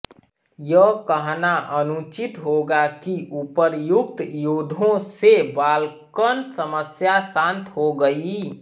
यह कहना अनुचित होगा कि उपर्युक्त युद्धों से बाल्कन समस्या शांत हो गई